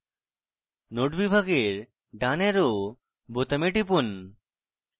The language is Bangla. node বিভাগের ডান arrow বোতামে টিপুন